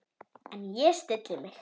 En ég stilli mig.